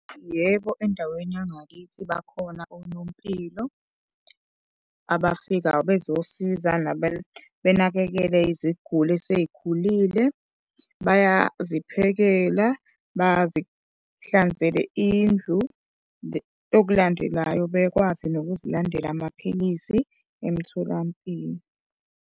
Yebo, endaweni yangakithi bakhona onompilo abafikayo bezosiza benakekele iziguli esezikhulile. Bayaziphekela, bazihlanzele indlu, okulandelayo bekwazi nokuzilandela amaphilisi emtholampilo.